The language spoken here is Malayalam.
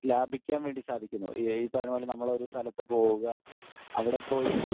സ്പീക്കർ 1 ലാഭിക്കാൻ വേണ്ടി സാധിക്കുന്നു. ഈ പറഞ്ഞ പോലെ നമ്മൾ ഒരു സ്ഥലത്ത് പോകാൻ അവിടെ പോയി